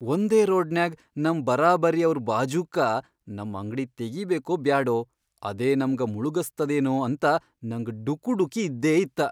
ವಂದೇ ರೋಡ್ನ್ಯಾಗ್ ನಮ್ ಬರಾಬರಿಯವ್ರ್ ಬಾಜೂಕ್ಕ ನಮ್ ಅಂಗ್ಡಿ ತೆಗಿಬೇಕೊ ಬ್ಯಾಡೊ, ಅದೇ ನಮ್ಗ ಮುಳಗಸ್ತದೇನೂ ಅಂತ ನಂಗ್ ಡುಕುಡುಕಿ ಇದ್ದೇಇತ್ತ.